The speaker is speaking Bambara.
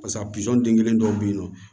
Pasa pizɔn den kelen dɔw bɛ yen nɔ